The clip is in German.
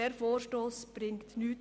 Dieser Vorstoss bringt nichts.